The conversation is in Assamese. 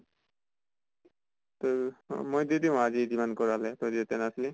তোৰ অ মই দি দিম আজি যিমান কৰালে তই যেতিয়া নাছিলি।